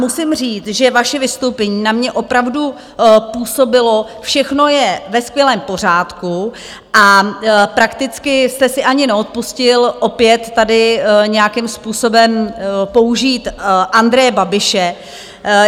Musím říct, že vaše vystoupení na mě opravdu působilo: všechno je ve skvělém pořádku a prakticky jste si ani neodpustil opět tady nějakým způsobem použít Andreje Babiše.